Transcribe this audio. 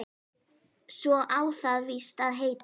Svo á það víst að heita